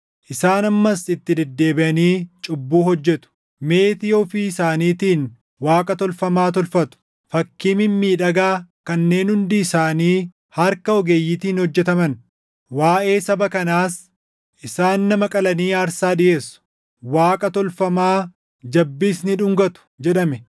Isaan ammas itti deddeebiʼanii cubbuu hojjetu; meetii ofii isaaniitiin waaqa tolfamaa tolfatu; fakkii mimmiidhagaa kanneen hundi isaanii harka ogeeyyiitiin hojjetaman. Waaʼee saba kanaas, “Isaan nama qalanii aarsaa dhiʼeessu; waaqa tolfamaa jabbiis ni dhungatu!” jedhame.